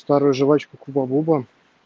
старую жвачку хуба буба